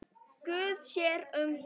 Guð sér um það.